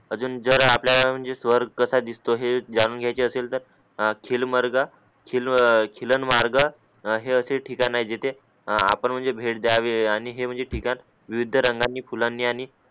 अजून जेर आपल्याला म्हणजे जर आपल्याला म्हणजे स्वर्ग कसा दिसतो हे जाणून घ्यायचे असेलतर चिलमार्ग चिलमार्ग चिलनमार्ग हे असे ठिकाण आहे जिथे आपण म्हणजे भेट द्यावे आणि म्हणजे हे ठिकाण विविध रंगानी फुलांनी